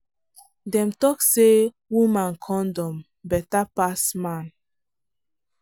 dem talk say woman condom better pass man.